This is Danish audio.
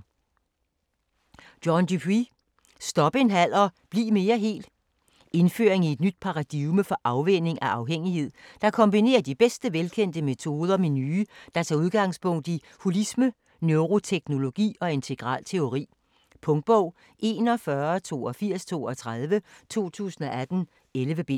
Dupuy, John: Stop en halv og bliv mere hel Indføring i et nyt paradigme for afvænning af afhængighed, der kombinerer de bedste velkendte metoder med nye, der tager udgangspunkt i holisme, neuroteknologi og integral teori. Punktbog 418232 2018. 11 bind.